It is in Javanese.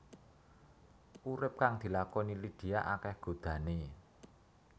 Urip kang dilakoni Lydia akéh godhané